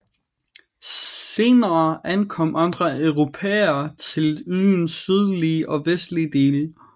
Senere ankom andre europæere til øens sydlige og vestlige dele